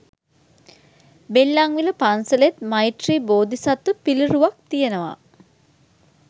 බෙල්ලන්විල පන්සලෙත් මෛත්‍රි බෝධිසත්ව පිළිරුවක් තියනවා.